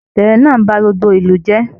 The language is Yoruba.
Ìṣẹlẹ náà bá gbogbo ìlú jẹ.